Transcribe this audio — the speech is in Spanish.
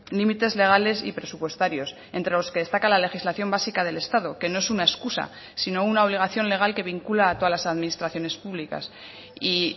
límites legales y presupuestarios entre los que destaca la legislación básica del estado que no es una excusa sino una obligación legal que vincula a todas las administraciones públicas y